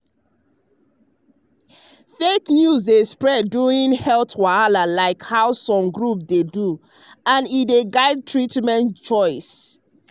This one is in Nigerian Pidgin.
fake news dey spread during health wahala like how some groups dey do and e dey guide treatment choice.